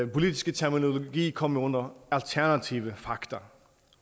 politiske terminologi komme under alternative faktor